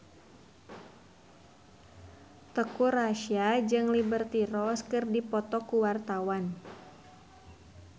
Teuku Rassya jeung Liberty Ross keur dipoto ku wartawan